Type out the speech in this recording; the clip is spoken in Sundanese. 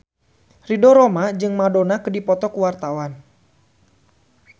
Ridho Roma jeung Madonna keur dipoto ku wartawan